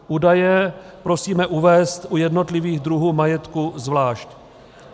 Údaje prosíme uvést u jednotlivých druhů majetku zvlášť.